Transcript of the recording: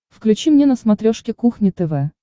включи мне на смотрешке кухня тв